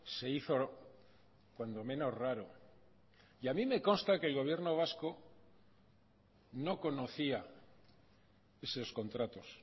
se hizo cuando menos raro y a mí me consta que el gobierno vasco no conocía esos contratos